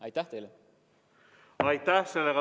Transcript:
Aitäh!